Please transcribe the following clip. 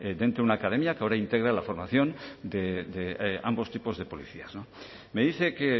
dentro de una academia que ahora integra la formación de ambos tipos de policías me dice que